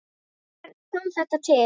Hvernig kom þetta til?